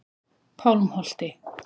Pálmholti